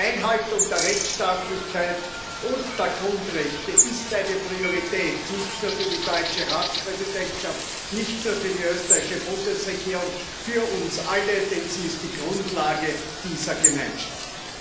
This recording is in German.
Die Einhaltung der Rechtstaatlichkeit und der Grundrechte ist eine Priorität nicht nur für die deutsche Ratspräsidentschaft, nicht nur für die österreichische Bundesregierung, für uns alle, denn sie ist die Grundlage dieser Gemeinschaft.